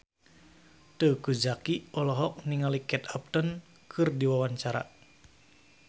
Teuku Zacky olohok ningali Kate Upton keur diwawancara